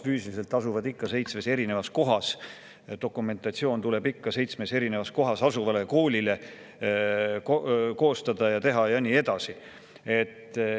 Füüsiliselt asuvad nad ikka seitsmes eri kohas, dokumentatsiooni tuleb koostada ja teha ikka seitsmes eri kohas asuvale koolile ja nii edasi.